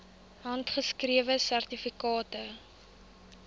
handgeskrewe sertifikate